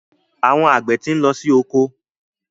Àwọn àgbẹ̀ ti ń lọ sí oko.